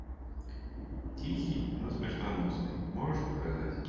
тихий но смертоносный можешь показать